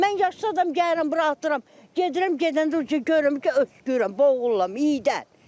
Mən yaşlı adam gəlirəm bura atıram, gedirəm, gedəndə görürəm ki, öskürürəm, boğuluram iyidən.